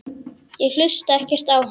Ég hlusta ekkert á hann.